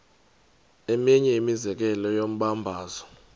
eminye imizekelo yombabazo